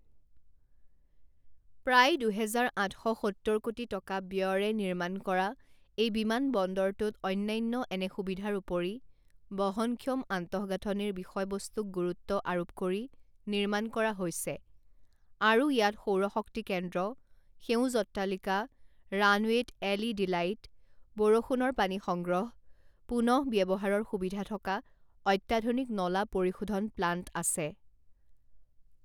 প্ৰায় দুহেজাৰ আঠ শ সত্তৰ কোটি টকা ব্যয়ৰে নিৰ্মাণ কৰা এই বিমানবন্দৰটোত অন্যান্য এনে সুবিধাৰ উপৰি বহনক্ষম আন্তঃগাঁথনিৰ বিষয়বস্তুক গুৰু্ত্ব আৰোপ কৰি নিৰ্মাণ কৰা হৈছে আৰু ইয়াত সৌৰ শক্তি কেন্দ্ৰ, সেউজ অট্টালিকা, ৰাণৱেত এলইডিলাইট, বৰষুণৰ পানী সংগ্ৰহ, পুনঃব্যৱহাৰৰ সুবিধা থকা অত্যাধুনিক নলা পৰিশোধন প্লাণ্ট আছে।